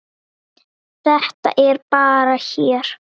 Þetta er bara hér.